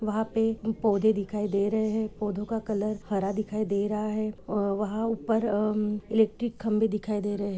वहाँ पे पौधे दिखाई दे रहे है पौधों का कलर हरा दिखाई दे रहा है और वहाँ ऊपर अमम- इलेक्ट्रिक खंभे दिखाई दे रहे है ।